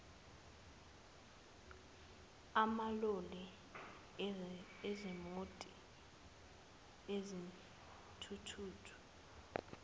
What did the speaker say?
amaloli izimoti izithuthuthu